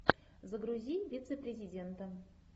загрузи вице президента